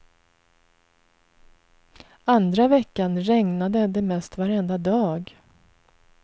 Andra veckan regnade det mest varenda dag.